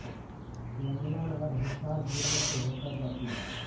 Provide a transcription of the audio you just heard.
यमुना नहर हिसार जिला से होकर जाती है